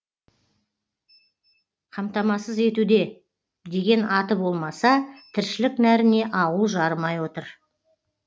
қамтамасыз етуде деген аты болмаса тіршілік нәріне ауыл жарымай отыр